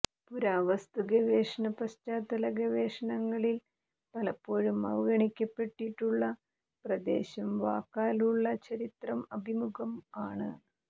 പുരാവസ്തുഗവേഷണ പശ്ചാത്തല ഗവേഷണങ്ങളിൽ പലപ്പോഴും അവഗണിക്കപ്പെട്ടിട്ടുള്ള പ്രദേശം വാക്കാലുള്ള ചരിത്രം അഭിമുഖം ആണ്